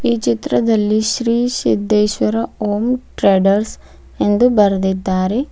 ಈ ಚಿತ್ರದಲ್ಲಿ ಶ್ರೀ ಸಿದ್ದೇಶ್ವರ ಓಂ ಟ್ರೇಡರ್ಸ್ ಎಂದು ಬರ್ದಿದ್ದಾರೆ.